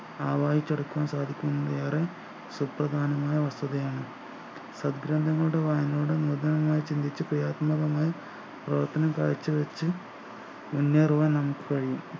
ആവാഹിച്ച് എടുക്കാൻ സാധിക്കുന്നതിലേറെ സുപ്രദാനമായ വസ്‌തുതയാണ്‌ വായനയിലൂടെ ചിന്തിച്ചു ക്രിയാത്മകമായി പ്രവർത്തനം കാഴ്ചവെച്ച് മുന്നേറുവാൻ നമുക്ക് കഴിയും